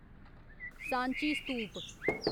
Sanchi स्तूप